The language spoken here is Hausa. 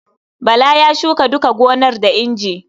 Bala ya shuka duka gonar da inji.